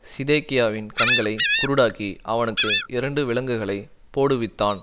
சிதேக்கியாவின் கண்களை குருடாக்கி அவனுக்கு இரண்டு விலங்குகளைப் போடுவித்தான்